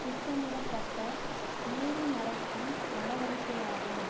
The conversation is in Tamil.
திட்டமிடப்பட்ட மூடிமறைக்கும் நடவடிக்கையாகும்